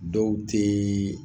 Dɔw tɛ